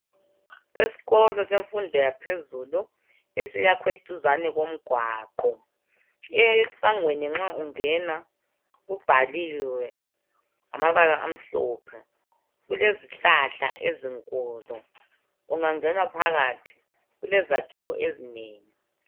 Esikolo semfundo yaphezulu esiyakhwe duzane komgwaqo .Esangweni nxa ungena kubhaliwe ngamabala amhlophe .Kulezihlahla ezinkulu .Ungangena phakathi kulezakhiwo ezinengi.